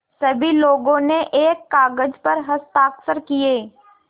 सभी लोगों ने एक कागज़ पर हस्ताक्षर किए